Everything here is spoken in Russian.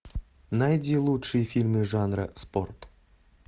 найди лучшие фильмы жанра спорт